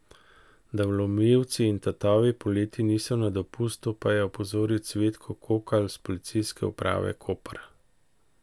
Da vlomilci in tatovi poleti niso na dopustu, pa je opozoril Cvetko Kokalj s Policijske uprave Koper.